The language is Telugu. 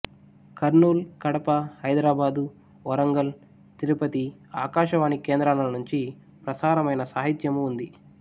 కర్నూలు కడప హైదరాబాదు వరంగల్ తిరుపతి ఆకాశవాణి కేంద్రాల నుంచి ప్రసారమైన సాహిత్యమూ ఉంది